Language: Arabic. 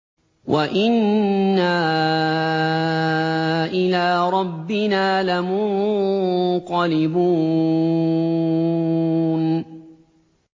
وَإِنَّا إِلَىٰ رَبِّنَا لَمُنقَلِبُونَ